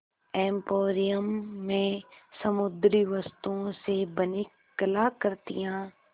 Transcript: emporium में समुद्री वस्तुओं से बनी कलाकृतियाँ